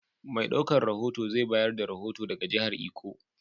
Mai ɗaukan rohoto zai bayar da rohoto daga jihar Iko.